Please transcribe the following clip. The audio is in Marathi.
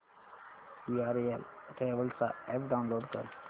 वीआरएल ट्रॅवल्स चा अॅप डाऊनलोड कर